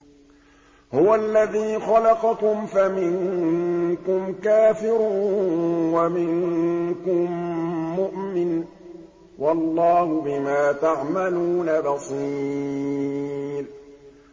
هُوَ الَّذِي خَلَقَكُمْ فَمِنكُمْ كَافِرٌ وَمِنكُم مُّؤْمِنٌ ۚ وَاللَّهُ بِمَا تَعْمَلُونَ بَصِيرٌ